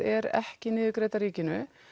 er ekki niðurgreidd af ríkinu